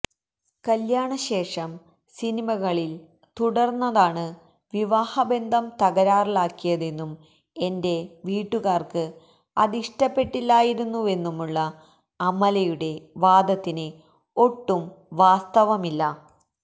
കല്യാണ ശേഷം സിനിമകളില് തുടര്ന്നതാണ് വിവാഹ ബന്ധം തകരാറിലാക്കിയതെന്നും എന്റെ വീട്ടുകാര്ക്ക് അതിഷ്ടപ്പെട്ടില്ലായിരുന്നുവെന്നുമുള്ള അമലയുടെ വാദത്തില് ഒട്ടും വാസ്തവമില്ല